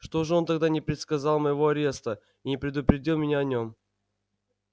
что же он тогда не предсказал моего ареста и не предупредил меня о нем